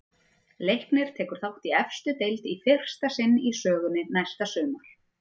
Leiknir tekur þátt í efstu deild í fyrsta sinn í sögunni næsta sumar.